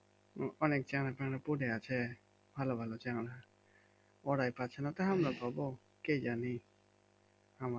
অনেক পরে আছে ভালো ভালো চ্যাংড়া ওরাই পাচ্ছেনা তো আমরা পাবো কি জানি আমরা